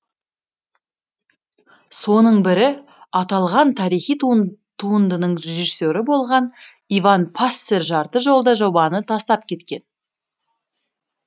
соның бірі аталған тарихи туындынының режиссері болған иван пассер жарты жолда жобаны тастап кеткен